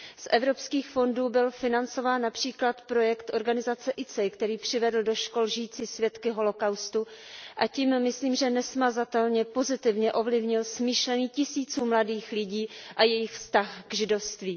Z evropských fondů byl financován například projekt organizace ICEI, který přivedl do škol žijící svědky holocaustu a tím, myslím, nesmazatelně pozitivně ovlivnil smýšlení tisíců mladých lidí a jejich vztah k židovství.